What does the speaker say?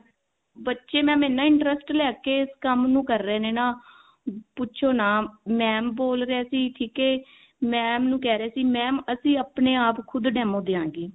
ਬੱਚੇ mam ਇੰਨਾ interest ਲੈਕੇ ਇਸ ਕੰਮ ਨੂੰ ਕਰ ਰਹੇ ਨੇ ਨਾ ਪੁੱਛੋ ਨਾ mam ਬੋਲ ਰਹੇ ਸੀ mam ਨੂੰ ਕਿਹ ਰਹੇ ਸੀ mam ਅਸੀਂ ਆਪਣੇ ਆਪ ਖੁਦ demo ਦਵਾਂਗੇ